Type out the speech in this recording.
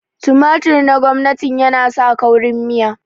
tumatur na gwamnatin yana sa kaurin miya